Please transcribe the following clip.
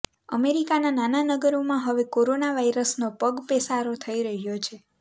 અમેરિકાના નાના નગરોમાં હવે કોરોના વાઇરસનો પગપેસારો થઇ રહ્યો છે